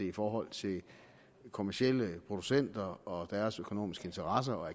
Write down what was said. i forhold til kommercielle producenter og deres økonomiske interesser